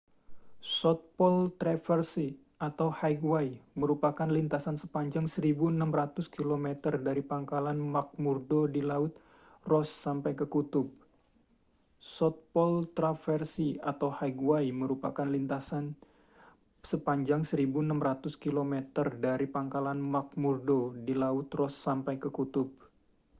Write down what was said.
south pole traverse atau highway merupakan lintasan sepanjang 1.600 km dari pangkalan mcmurdo di laut ross sampai ke kutub